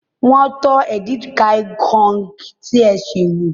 Wọ́n tọ́ edikaikong tí ẹ sè wò.